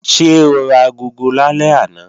Ṣé o ra agogo lálẹ́ àná?